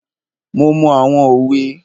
Mo mọ àwọn òwe.